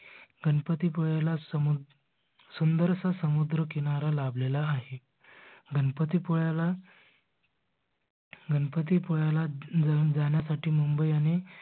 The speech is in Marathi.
गणपती पुळ्याला सुंदरस समुद्र किनारा लाभलेला आहे. गणपती पुळ्याला गणपती पुळ्याला जाण्यासाठी मुंबई आणि